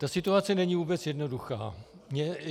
Ta situace není vůbec jednoduchá.